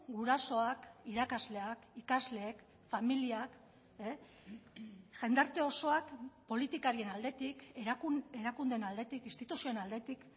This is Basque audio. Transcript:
gurasoak irakasleak ikasleek familiak jendarte osoak politikarien aldetik erakundeen aldetik instituzioen aldetik